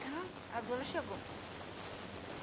Gritando, a dona chegou.